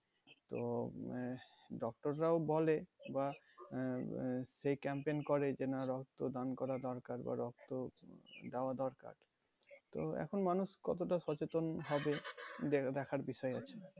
তো উম আহ doctor রাও বলে বা আহ আহ সেই campaign করে যে না রক্তদান করা দরকার বা রক্ত দেওয়া দরকার তো এখন মানুষ কতটা সচেতন হবে দে~ দেখার বিষয় আছে